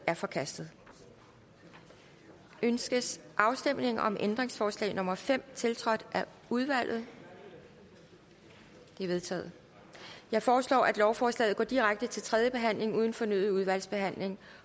er forkastet ønskes afstemning om ændringsforslag nummer fem tiltrådt af udvalget det er vedtaget jeg foreslår at lovforslaget går direkte til tredje behandling uden fornyet udvalgsbehandling